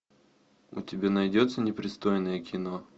у тебя найдется непристойное кино